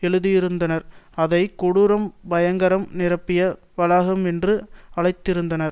எழுதியிருந்தனர் அதை கொடூரம் பயங்கரம் நிரம்பிய வளாகம் என்றும் அழைத்திருந்தனர்